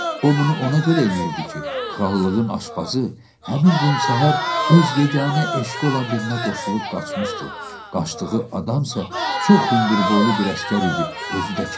O bunu ona görə eləyirdi ki, krallığın aşbazı həmin gün səhər öz yeganə eşqi olan birinə qoşulub qaçmışdı, qaçdığı adam isə çox hündürboylu bir əsgər idi, özü də kefli.